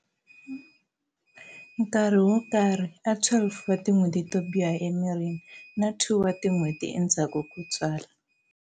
Nkarhi wo karhi a 12 wa tin'hweti to biha emirini na 2 wa tin'hweti endzhaku ko tswala.